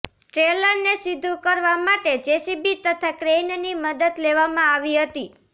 ટ્રેલરને સીધુ કરવા માટે જેસીબી તથા ક્રેઈનની મદદ લેવામાં આવી હતી